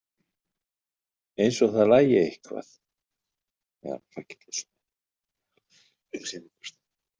Eins og það lagi eitthvað.